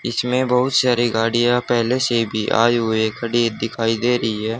इसमें बहुत सारी गाड़ियां पहले से भी आए हुए खड़ी दिखाई दे रही है।